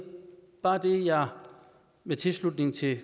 bare det jeg med tilslutning til